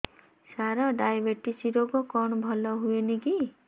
ସାର diabetes ରୋଗ କଣ ଭଲ ହୁଏନି କି